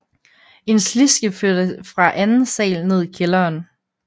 En sliske førte fra anden sal ned i kælderen